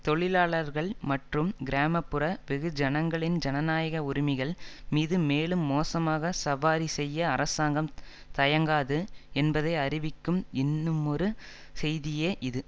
தொழிலாளர்கள் மற்றும் கிராம புற வெகுஜனங்களின் ஜனநாயக உரிமைகள் மீது மேலும் மோசமாக சவாரி செய்ய அரசாங்கம் தயங்காது என்பதை அறிவிக்கும் இன்னுமொரு செய்தியே இது